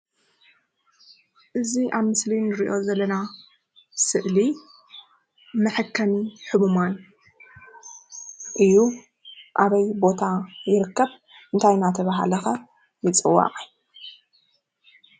እዚ ኣብ ምስሊ እንሪኦ ዘለና ስእሊ መሐከሚ ሕሙማን እዩ። ኣበይ ቦታ ይርከብ? እንታይ እንዳተበሃለ ከ ይፅዋዕ?